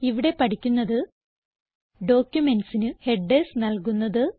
ഇവിടെ പഠിക്കുന്നത് ഡോക്യുമെന്റ്സിന് ഹെഡർസ് നൽകുന്നത്